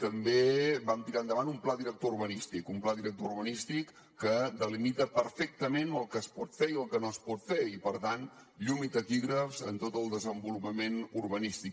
també vam tirar endavant un pla director urbanístic un pla director urbanístic que delimita perfectament el que es pot fer i el que no es pot fer i per tant llum i taquígrafs en tot el desenvolupament urbanístic